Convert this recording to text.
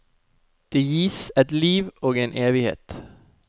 Det gis ett liv og én evighet.